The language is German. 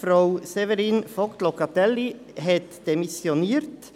Frau Séverine VogtLocatelli hat demissioniert.